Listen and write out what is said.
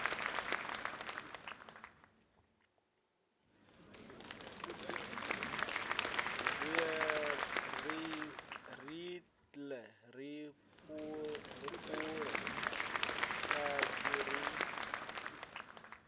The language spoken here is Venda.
riṋe ri phule tshashu ri